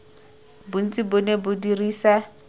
bontsi bo ne bo dirisa